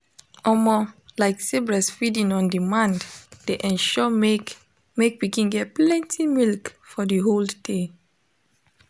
omo lyk say breastfeeding on demand de ensure make make pikin get plenty milk for the hold day